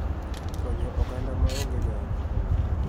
Konyo oganda ma onge nyalo�